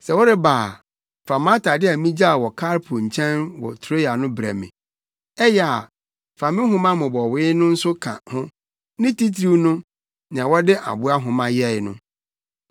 Sɛ woreba a, fa mʼatade a migyaw wɔ Karpo nkyɛn wɔ Troa no brɛ me. Ɛyɛ a, fa me nwoma mmobɔwee no nso ka ho, ne titiriw no nea wɔde aboa nwoma yɛe no.